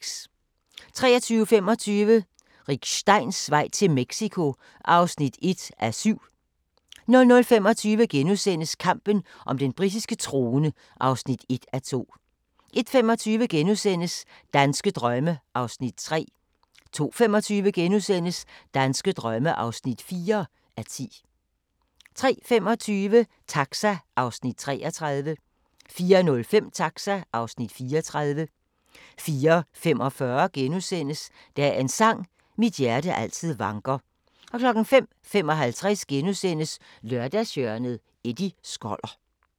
23:25: Rick Steins vej til Mexico (1:7) 00:25: Kampen om den britiske trone (1:2)* 01:25: Danske drømme (3:10)* 02:25: Danske drømme (4:10)* 03:25: Taxa (Afs. 33) 04:05: Taxa (Afs. 34) 04:45: Dagens sang: Mit hjerte altid vanker * 05:55: Lørdagshjørnet - Eddie Skoller *